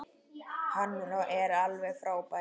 Hann er alveg frábær.